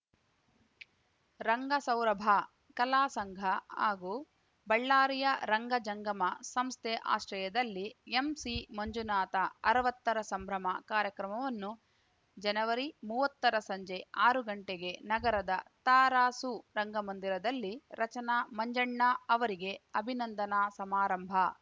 ರಂಗಸೌರಭ ಕಲಾ ಸಂಘ ಹಾಗೂ ಬಳ್ಳಾರಿಯ ರಂಗಜಂಗಮ ಸಂಸ್ಥೆ ಆಶ್ರಯದಲ್ಲಿ ಎಂಸಿ ಮಂಜುನಾಥ ಅರವತ್ತರ ಸಂಭ್ರಮ ಕಾರ್ಯಕ್ರಮವನ್ನು ಜನವರಿಮೂವತ್ತರ ಸಂಜೆ ಆರು ಗಂಟೆಗೆ ನಗರದ ತರಾಸು ರಂಗಮಂದಿರದಲ್ಲಿ ರಚನಾ ಮಂಜಣ್ಣ ಅವರಿಗೆ ಅಭಿನಂದನಾ ಸಮಾರಂಭ